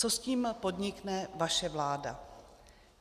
Co s tím podnikne vaše vláda?